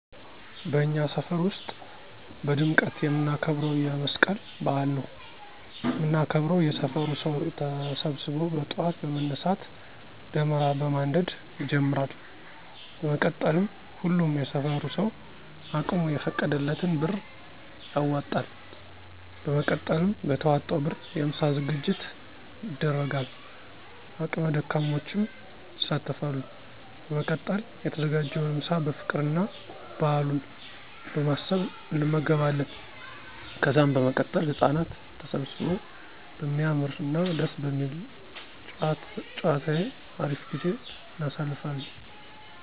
በእኛ ሰፈር ውስጥ በድምቀት የምናከብረው የ መስቀል በዐል ነው። ምናከብረው የሰፈሩ ሰው ተሰብሰበው በጥዋት በመነሳት ደመራ በማንደድ ይጀመራል። በመቀጠልም ሁሉም የሰፈሩ ሰው አቅሙ የፈቀደለትን ብር ያዋጣል። በመቀጠልም በተዋጣው ብር የ ምሳ ዝግጅት ይደረጋል አቅመ ደካሞችም ይሳተፋሉ። በመቀጠል የተዘጋጀውን ምሳ በፍቅር እና በአሉን በማሰብ አንመገባለን። ከዛም በመቀጠል ህጻናት ተሰብስበው በሚያምር እና ደስ በሚል ጨዋታየው አሪፍ ጊዜን እናሳልፋለን።